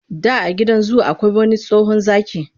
Da a gidan zu akwai wani tsohon zaki,